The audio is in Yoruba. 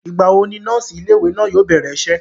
ìgbà wo ni nọ́ọ̀sì ilé ìwé náà yóò bẹ̀rẹ̀ isẹ́?